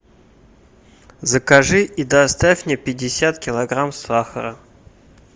закажи и доставь мне пятьдесят килограмм сахара